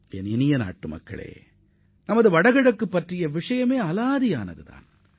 எனதருமை நாட்டு மக்களே நமது வடகிழக்கு மாநிலங்கள் சிறப்பு வாய்ந்த தனித்துவத்தை கொண்டவையாகும்